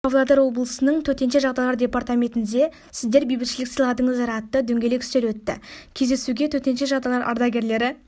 павлодар облысының төтенше жағдайлар департаментінде сіздер бейбітшілік сыйладыңыздар атты дөңгелек үстел өтті кездесуге төтенше жағдайлар ардагерлері